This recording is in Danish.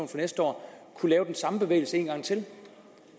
for næste år kunne lave den samme bevægelse en gang til